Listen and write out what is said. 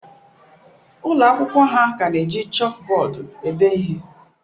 Ụlọ akwụkwọ ha ka na-eji chọọkụ bọọdụ ede ihe.